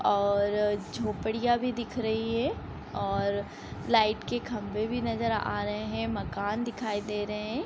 और अ झोपड़ियाँ भी दिख रही है और लाइट के खम्भे भी नजर आ रहे है मकान दिखाई दे रहे है ।